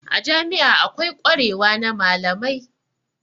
A jami'a akwai kwarewa na malamai.